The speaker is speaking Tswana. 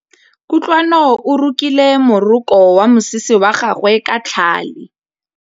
Kutlwanô o rokile morokô wa mosese wa gagwe ka tlhale.